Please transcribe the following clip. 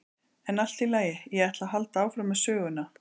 En allt í lagi, ég ætla að halda áfram með söguna.